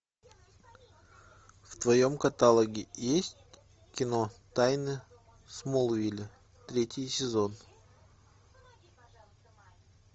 в твоем каталоге есть кино тайны смолвиля третий сезон